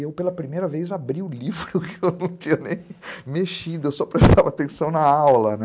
E eu, pela primeira vez, abri o livro que eu não tinha nem mexido, eu só prestava atenção na aula, né?